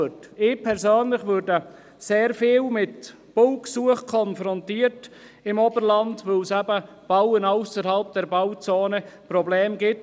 Ich persönlich werde sehr oft mit Baugesuchen im Oberland konfrontiert, weil es beim Bauen ausserhalb der Bauzone Probleme gibt.